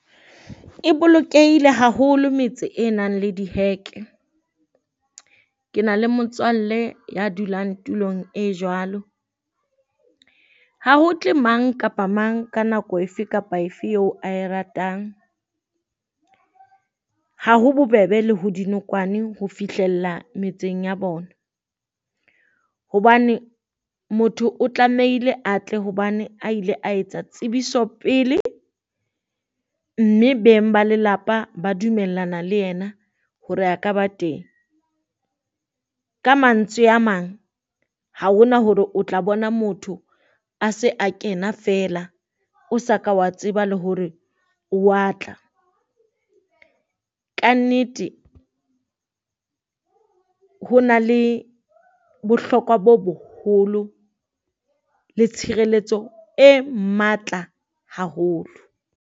E bolokehile haholo metse e nang le diheke, ke na le motswalle ya dulang tulong e jwalo. Ho tle mang kapa mang ka nako efe kapa efe eo ae ratang, ha ho bobebe le ho dinokwane ho fihlella metseng ya bona. Hobane motho o tlamehile a tle hobane a ile a etsa tsebiso pele, mme beng ba lelapa ba dumellana le yena hore a ka ba teng. Ka mantswe a mang, ha ho na hore o tla bona motho a se a kena feela o sa ka wa tseba le hore o wa tla. Kannete ho na le bohlokwa bo boholo le tshireletso e matla haholo.